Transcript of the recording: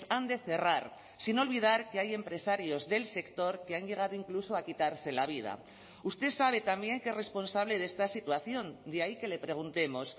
han de cerrar sin olvidar que hay empresarios del sector que han llegado incluso a quitarse la vida usted sabe también que es responsable de esta situación de ahí que le preguntemos